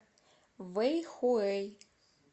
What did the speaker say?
вэйхуэй